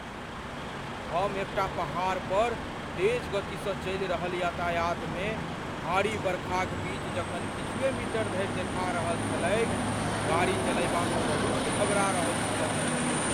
हम एकटा पहाड़ पर तेज गति सँ चलि रहल यातायातमे, भारी बरखाक बीच जखन किछुए मीटर धरि देखा रहल छलैक, गाड़ी चलयबामे बहुत घबरा रहल छलहुँ।